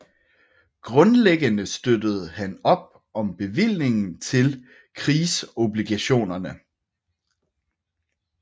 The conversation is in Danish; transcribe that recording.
Grundlæggende støttede han op om bevillingen til krigsobligationerne